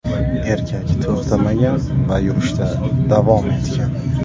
Erkak to‘xtamagan va yurishda davom etgan.